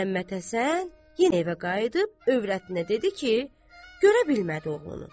Məmmədhəsən yenə evə qayıdıb övrətinə dedi ki, görə bilmədi oğlunu.